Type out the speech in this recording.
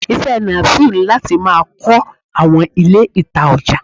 Ise Nasir ni lati ma kó awọn Ilé ita oja.